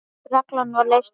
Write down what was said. Reglan var leyst upp.